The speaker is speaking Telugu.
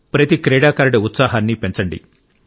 ప్రతి క్రీడాకారుడి ఉత్సాహాన్ని పెంచండి